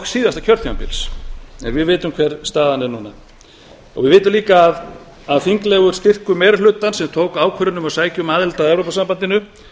síðasta kjörtímabils en við vitum hver staðan er núna við vitum líka að þinglegur styrkur meiri hlutans sem tók ákvörðun um að sækja um aðild að evrópusambandinu